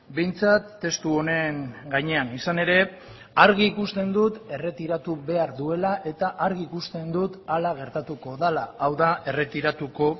behintzat testu honen gainean izan ere argi ikusten dut erretiratu behar duela eta argi ikusten dut hala gertatuko dela hau da erretiratuko